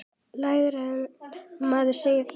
Lægra en maður segir frá.